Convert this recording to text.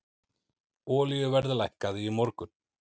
Olíuverð lækkaði í morgun.